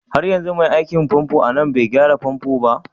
Har yanzu mai aikin famfo a nan bai gyara famfo ba?